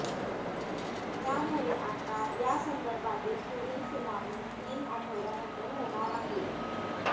त्यामुळे आता यासंदर्भातील पुढील सुनावणी तीन आठवड्यानंतर होणार आहे